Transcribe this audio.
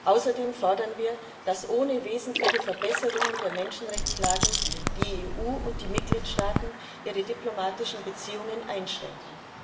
Außerdem fordern wir, dass ohne wesentliche Verbesserungen der Menschenrechtslage die EU und die Mitgliedstaaten ihre diplomatischen Beziehungen einschränken.